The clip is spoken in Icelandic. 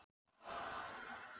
Hvað var þar á ferðinni?